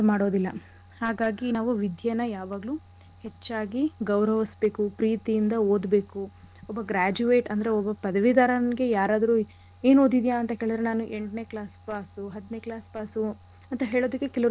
ಮಾಡೋದಿಲ್ಲ ಹಾಗಾಗಿ ನಾವು ವಿದ್ಯೆನ ಯಾವಾಗ್ಲು ಹೆಚ್ಚಾಗಿ ಗೌರವಿಸ್ಬೇಕು. ಪ್ರೀತಿಯಿಂದ ಓದ್ಬೇಕು. ಒಬ್ಬ graduate ಅಂದ್ರೆ ಒಬ್ಬ ಪದವಿಧರಂಗೆ ಯಾರಾದ್ರೂ ಏನ್ ಓದಿದ್ಯ? ಅಂತ ಕೇಳಿದ್ರೆ ನಾನ್ ಎಂಟ್ನೆ class pass ಉ ಹತ್ನೆ class pass ಉ ಅಂತ ಹೇಳೋದಿಕ್ಕೆ ಕೆಲವ್ರಿಗೆ.